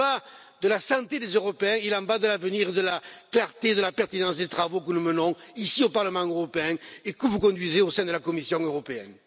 Il en va de la santé des Européens, il en va de l'avenir, de la clarté et de la pertinence des travaux que nous menons ici au Parlement européen et que vous conduisez au sein de la Commission européenne.